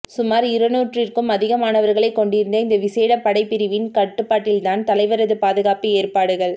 சுமார் இருநூறிற்கும் அதிகமானவர்களை கொண்டிருந்த இந்த விசேட படைப்பிரிவின் கட்டுப்பாட்டில்தான் தலைவரது பாதுகாப்பு ஏற்பாடுகள்